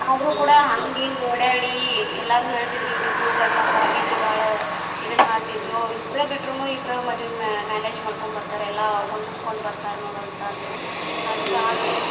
ಆದ್ರು ಕೂಡಾ ಹಂಗ್ ಹಿಂಗ್ ಓಡಾಡಿ ಎಲ್ಲಾರು ಹೇಳತಿದ್ರ ಇವರಿಬ್ರು ಗಂಡ ಮಕ್ಕಳಾಗಿದ್ರ ಬಾಳ ಇದನ್ ಮಾಡ್ತಿದ್ರು ಅವರಿಬ್ರ ಬಿಟ್ರುನು ಇಬ್ರ ಮದ್ವಿ manage ಮಾಡ್ಕೊಂಡ್ ಬರ್ತಾರೆ ಎಲ್ಲಾ ಹೊಂದಸಕೊಂಡ್ ಬರ್ತಾರ್ ನೋಡ್ ಅಂತ ಅಂದ್ರು ಅಂದ್ರು ಆದ್ರು .